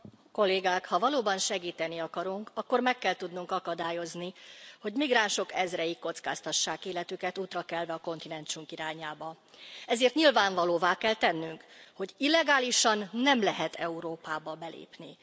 Tisztelt Elnök asszony! Kollégák, ha valóban segíteni akarunk, akkor meg kell tudnunk akadályozni, hogy migránsok ezrei kockáztassák életüket útra kelve a kontinensünk irányába. Ezért nyilvánvalóvá kell tennünk, hogy illegálisan nem lehet Európába belépni.